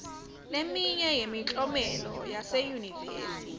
leminye yemklomelo yaseyunivesi